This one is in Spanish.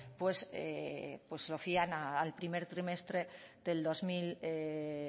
lo fían al primer trimestre del dos mil